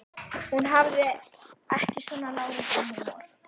Hún hafði ekki svona láréttan húmor.